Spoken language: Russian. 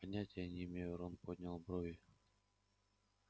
понятия не имею рон поднял брови